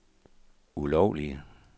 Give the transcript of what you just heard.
ulovlige